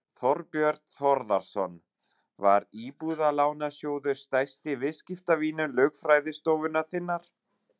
Þorbjörn Þórðarson: Var Íbúðalánasjóður stærsti viðskiptavinur lögfræðistofunnar þinnar?